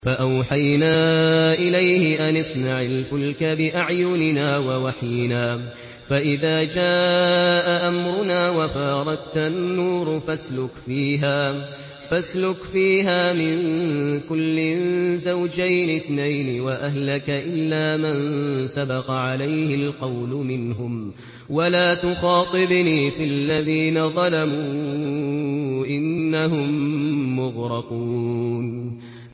فَأَوْحَيْنَا إِلَيْهِ أَنِ اصْنَعِ الْفُلْكَ بِأَعْيُنِنَا وَوَحْيِنَا فَإِذَا جَاءَ أَمْرُنَا وَفَارَ التَّنُّورُ ۙ فَاسْلُكْ فِيهَا مِن كُلٍّ زَوْجَيْنِ اثْنَيْنِ وَأَهْلَكَ إِلَّا مَن سَبَقَ عَلَيْهِ الْقَوْلُ مِنْهُمْ ۖ وَلَا تُخَاطِبْنِي فِي الَّذِينَ ظَلَمُوا ۖ إِنَّهُم مُّغْرَقُونَ